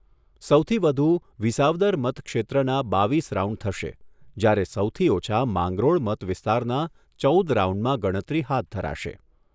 સૌથી વધુ વિસાવદર મતક્ષેત્રના બાવીસ રાઉન્ડ થશે, જ્યારે સૌથી ઓછા માંગરોળ મત વિસ્તારના ચૌદ રાઉન્ડમાં ગણતરી હાથ ધરાશે.